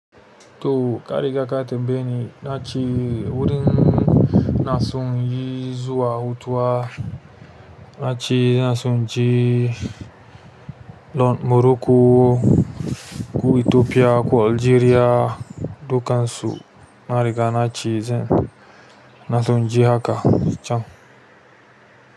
Toh ka riga ka tambayeni nace wurin inason zuwa hutuwa ace ina so naje morocco koh ethiopia koh algeria dukansu na riga na ce, zan na son je haka can.